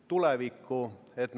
Ettepanek ei leidnud toetust.